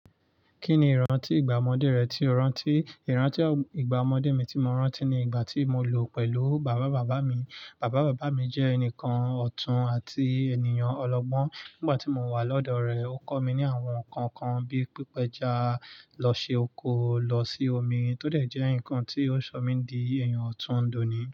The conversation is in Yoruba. Kí ni ìrántí ìgbà ọmọdé rẹ tí o rántí? Ìrántí ìgbà ọmọdé mi tí mo rántí ni ìgbà tí mo lò pẹ̀lú bàbá bàbá mi. Bàbá bàbá mi jẹ́ ẹnìkan ọ̀tún àti ènìyàn ọlọ́gbọ́n. Nígbà tí mo wà lọ́dọ̀ rẹ̀, ó kọ́ mi ní àwọn nǹkan kan bíi pípa ẹja, lọ ṣe oko, lọ sí omi, tó dẹ̀ jẹ́ nǹkan tí ó sọ mí di èèyàn ọ̀tún dóní.